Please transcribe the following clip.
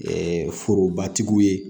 forobatigi ye